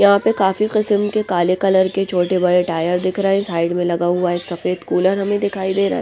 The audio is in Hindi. यहाँ पे काफी किस्म के काले कलर के छोटे-बड़े टायर दिख रहे हैं साइड में लगा हुआ एक सफेद कूलर हमें दिखाई दे रहा हैं ।